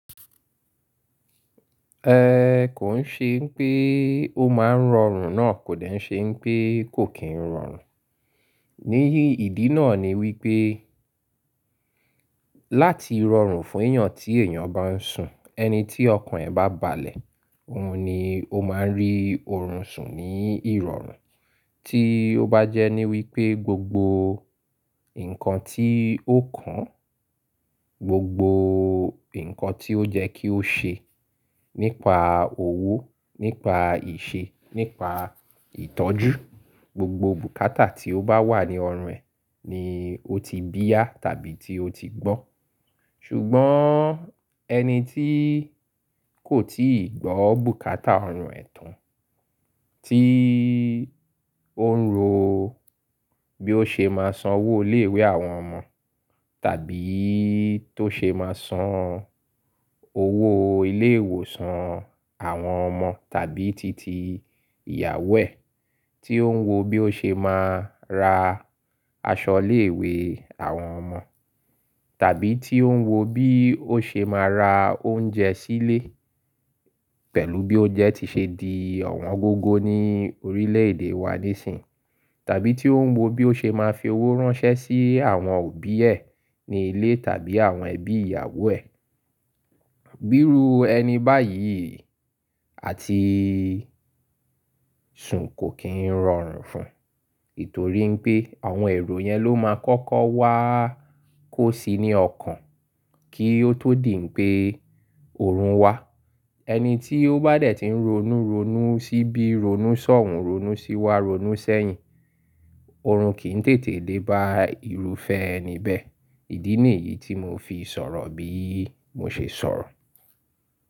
Ẹ kò ń ṣe pé ó máa ń rọrùn náà kò dẹ̀ ṣe pé kò kín rọrùn. Níyì ìdí náà ni wípé láti rọrùn fún èèyàn tí èèyàn bá ń sùn, ẹni tí ọkàn ẹ̀ bá balẹ̀, òun ni ó máa ń rí òrùn sùn ní ìrọ̀rùn. Tí ó bá jẹ́ ní wípé gbogbo nǹkan tí ó kàn, gbogbo nǹkan tí ó jẹ́ kí ó ṣe nípa òwò, nípa ìṣe, nípa ìtọ́jú, gbogbo bùkátà tí ó bá wà ní ọrùn ẹ̀ ni ó ti bíá tàbí tí ó ti gbọ́n. Ṣùgbọ́n ẹni tí kò tíì gbọ́ bùkátà ọrùn ẹ̀ tán, tí ó ń ro bí ó ṣe máa san owó ilé ìwé àwọn ọmọ, tàbí tó ṣe máa san owó ilé ìwòsàn àwọn ọmọ tàbí titi ìyàwó ẹ̀, tí ó ń wo bí ó ṣe máa ra aṣọ ilé ìwé àwọn ọmọ, tàbí tí ó ń wo bí ó ṣe máa ra oúnjẹ sílé pẹ̀lú bí ó jẹ́ ti ṣe di ọ̀wọ́n gógó ní orílẹ̀ èdè wa nísìínyi, tàbí tí ó ń wo bí ó ṣe máa fi owó ránṣẹ́ sí àwọn òbí ẹ̀ ní ilé tàbí àwọn ẹbí ìyàwó ẹ̀. Bìru ẹni báyìí àti sùn kò kín rọrùn fún, ètò rí wípé àwọn èrò yẹn ló máa kọ́kọ́ wá kó sí ní ọkàn kí ó tó dì pé òòrùn wá. Ẹni tí ó bá dẹ̀ tí ń ronú ronú sí bí ronú sọ̀hùn, ronú sí wá, ronú sẹ́yìn, òòrùn kì í tètè dé bá ìrúfẹ́ ẹni bẹ́ẹ̀. Ìdí nìyí tí mo fi sọ̀rọ̀ bí mo ṣe sọ̀rọ̀